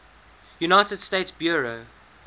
united states bureau